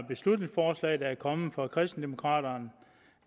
beslutningsforslag der er kommet fra kristendemokraterne